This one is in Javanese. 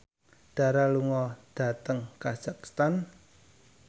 Dara lunga dhateng kazakhstan